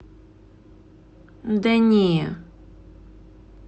да не